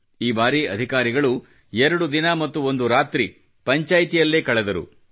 ಈ ಬಾರಿ ಅಧಿಕಾರಿಗಳು ಎರಡು ದಿನ ಮತ್ತು ಒಂದು ರಾತ್ರಿ ಪಂಚಾಯ್ತಿಯಲ್ಲೇ ಕಳೆದರು